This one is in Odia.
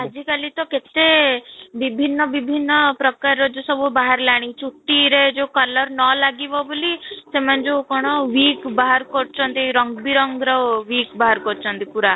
ଆଜି କଲି ତ କେତେ ବିଭିନ୍ନ ବିଭିନ୍ନ ପ୍ରକାରର ସବୁ ବାହାରିଲାଣି ଚୁଟିରେ ଯୋଉ color ନ ଲାଗିବା ବୋଲି ସେମାନେ ଯୋଉ କ'ଣ କରୁଛନ୍ତି ରଙ୍ଗ ବିରଙ୍ଗର ବାହାର କରୁଛନ୍ତି ପୁରା